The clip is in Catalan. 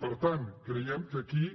per tant creiem que aquí